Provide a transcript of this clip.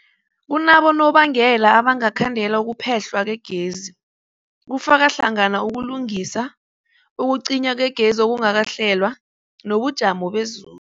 Kunabonobangela abangakhandela ukuphehlwa kwegezi, kufaka hlangana ukulungisa, ukucinywa kwegezi okungakahlelwa, nobujamo bezulu.